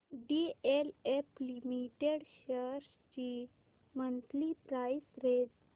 DLF limited shares ची monthly price range